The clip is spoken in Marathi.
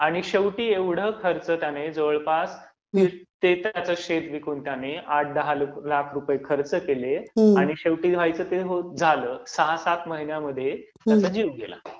आणि शेवटी एवढं खर्च त्याने जवळपास स्वतःचं शेत विकून त्याने आठ दहा लाख खर्च केले, आणि शेवटी व्हायचं ते झालं आणि सहा सात महिन्यात त्याचा जीव गेला.